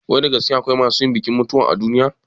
Wai da gaske akwai masu yin bikin mutuwa a duniya?